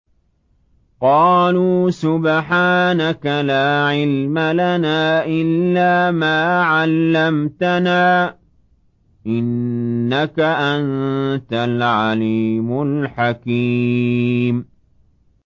قَالُوا سُبْحَانَكَ لَا عِلْمَ لَنَا إِلَّا مَا عَلَّمْتَنَا ۖ إِنَّكَ أَنتَ الْعَلِيمُ الْحَكِيمُ